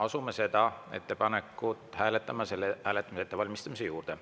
Asume selle ettepaneku hääletamise ettevalmistamise juurde.